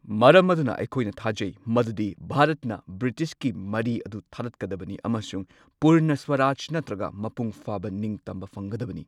ꯃꯔꯝ ꯑꯗꯨꯅ, ꯑꯩꯈꯣꯏꯅ ꯊꯥꯖꯩ, ꯃꯗꯨꯗꯤ ꯚꯥꯔꯠꯅ ꯕ꯭ꯔꯤꯇꯤꯁꯀꯤ ꯃꯔꯤ ꯑꯗꯨ ꯊꯗꯠꯀꯗꯕꯅꯤ ꯑꯃꯁꯨꯡ ꯄꯨꯔꯅ ꯁ꯭ꯋꯥꯔꯥꯖ ꯅꯠꯇ꯭ꯔꯒ ꯃꯄꯨꯡ ꯐꯥꯕ ꯅꯤꯡꯇꯝꯕ ꯐꯪꯒꯗꯕꯅꯤ꯫